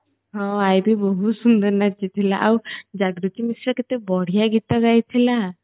ହଁ ଆଇବି ବହୁତ ସୁନ୍ଦର ନାଚିଥିଲା ଆଉ ଜାଗୃତି ମିଶ୍ର ସେ କେତେ ବଢିଆ ଗୀତ ଗାଇଥିଲା